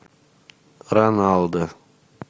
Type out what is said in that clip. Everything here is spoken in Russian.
роналдо